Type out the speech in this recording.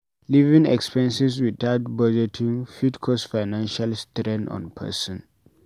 Living expenses without budgeting fit cause financial strain on person